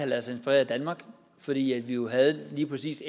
ladet sig inspirere af danmark fordi vi jo lige præcis